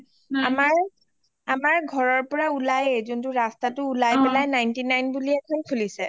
আমাৰ ঘৰৰ পৰা উলাইয়ে যোনটো ৰাস্তা ninety nine বুলি এখন খুলিচে